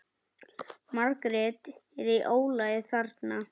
Margt er í ólagi þarna.